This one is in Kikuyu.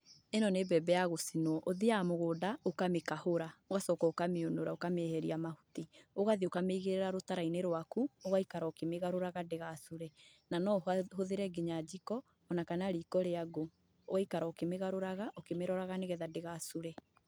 ĩno nĩ mbembe ya gũcinwo, ũthiaga mũgũnda ũkamĩkahũra, ũgacoka ũkamĩũnũra ũkamĩeheria mahuti. Ũgathiĩ ũkamĩigĩrĩra rũtara-inĩ rwaku, ũgaikara ũkĩmĩgarũraga ndĩgacure, na no ũhũthĩre nginya njiko, ona kana riko rĩa ngũ, ũgaikara ũkĩmĩgarũragaraga ũkĩmĩroraga, nĩgetha ndĩgacure.